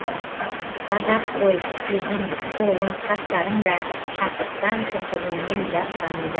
ғажап қой жүзің қолың қастарың да шаттықтан кірпігіңнен жас тамуда